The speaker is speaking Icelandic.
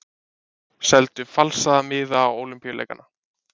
Seldu falsaða miða á Ólympíuleikana